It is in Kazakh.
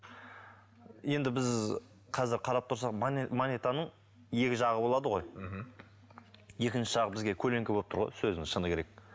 енді біз қазір қарап тұрсақ монетаның екі жағы болады ғой мхм екінші жағы бізге көлеңке болып тұр ғой сөздің шыны керек